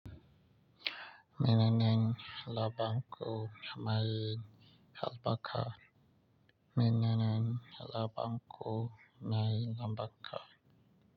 Menene lambarku ko mai albarka. Menene labang ko may albarka.